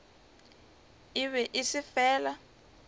e be e se fela